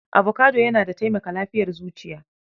Avocado yana da taimaka lafiyar zuciya.